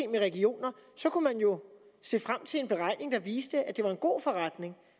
med regioner kunne man jo se frem til en beregning der viste at det var en god forretning